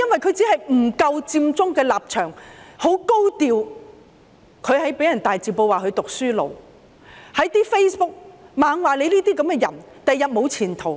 他只是不撐佔中的立場，很高調，即被人在大字報指他是"讀書奴"，在 Facebook 不停說他這樣的人將來沒有前途。